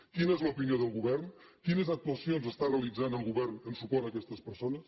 quina és l’opinió del govern quines actuacions està realitzant el govern en suport a aquestes persones